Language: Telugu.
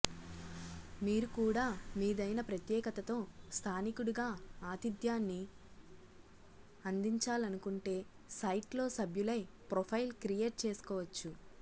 మీరు కూడా మీదైన ప్రత్యేకతతో స్థానికుడిగా అతిథ్యాన్ని అందించాలనుకుంటే సైట్లో సభ్యులై ప్రొఫైల్ క్రియేట్ చేసుకోవచ్చు